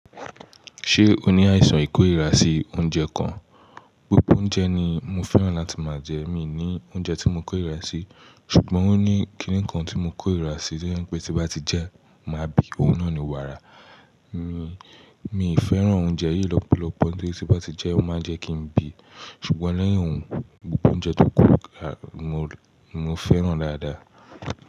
Ṣé o ní àìsàn ìkórìíra sí oúnjẹ kan? Gbogbo oúnjẹ ni mo fẹ́ràn láti máa jẹ, mi ò ní oúnjẹ tí mo kórìíra sí. Ṣùgbọ́n ó ní kí nìkan tí mo kórìíra sí tó jẹ́ pé tí mo bá ti jẹ ẹ́ máa bí, òun náà ni wàrà. Mi, mi ì fẹ́ràn oúnjẹ yìí lọ́pọ̀lọpọ̀ torí tí bá ti jẹ ẹ́, ó máa ń jẹ́ kí n bí. Ṣùgbọ́n lẹ́yìn òun, gbogbo oúnjẹ tó kù ni mo fẹ́ràn dáadáa.